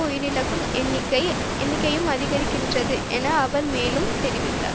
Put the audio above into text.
உயிரிழக்கும் என்னிக்கை எண்ணிக்கையும் அதிகரிக்கின்றது என அவர் மேலும் தெரிவித்தார்